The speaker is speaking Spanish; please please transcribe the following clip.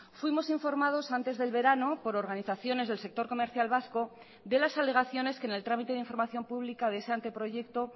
fuimos informados antes del verano por organizaciones del sector comercial vasco de las alegaciones que en el trámite de información pública de ese anteproyecto